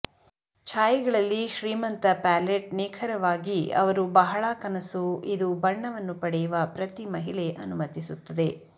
ಛಾಯೆಗಳಲ್ಲಿ ಶ್ರೀಮಂತ ಪ್ಯಾಲೆಟ್ ನಿಖರವಾಗಿ ಅವರು ಬಹಳ ಕನಸು ಇದು ಬಣ್ಣವನ್ನು ಪಡೆಯುವ ಪ್ರತಿ ಮಹಿಳೆ ಅನುಮತಿಸುತ್ತದೆ